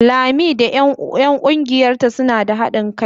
Lami da 'yan kungiyarta suna da hadin kai.